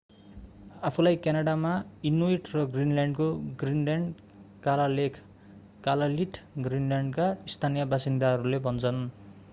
आफूलाई क्यानाडामा इनुइट र ग्रीनल्यान्डको ग्रीनल्यान्ड कालालेख कलालिट ग्रीनल्यान्डका स्थानीय बासिन्दाहरूले भन्छन्।